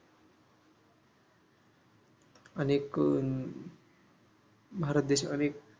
अनेक अह भारत देश अनेक